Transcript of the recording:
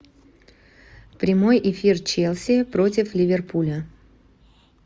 прямой эфир челси против ливерпуля